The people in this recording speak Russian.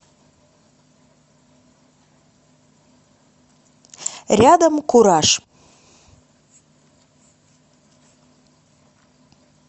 рядом кураж